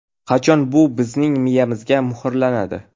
Qachon bu bizning miyamizga muhrlanadi?